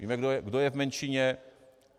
Víme, kdo je v menšině.